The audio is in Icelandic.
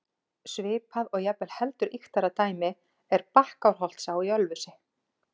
Svipað og jafnvel heldur ýktara dæmi er Bakkárholtsá í Ölfusi.